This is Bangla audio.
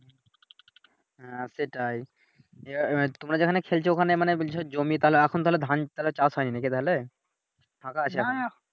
হ্যাঁ সেটাই, ইয়ে মা তোমরা যেখানে খেলছো ওইখানে মানে বলছো যে জমি তাহলে এখন তাহলে ধান তাহলে চাষ হয় নাকি তাহলে ফাঁকা আছে এখন